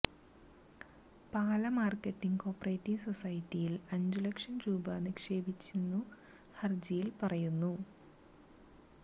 പാല marketing co operative സൊസൈറ്റിയില് അഞ്ചു ലക്ഷം രൂപ നിക്ഷേപിച്ചെന്നു ഹര്ജിയില് പറയുന്നു